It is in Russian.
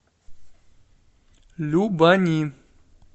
любани